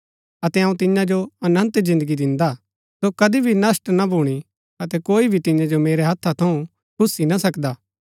अतै अऊँ तियां जो अनन्त जिन्दगी दिन्दा हा सो कदी भी नष्‍ट ना भूणी अतै कोई भी तियां जो मेरै हथा थऊँ खुस्सी ना सकदा